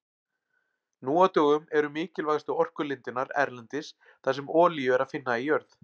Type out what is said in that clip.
Nú á dögum eru mikilvægustu orkulindirnar erlendis þar sem olíu er að finna í jörð.